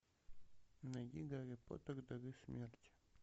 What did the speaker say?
найди гарри поттер дары смерти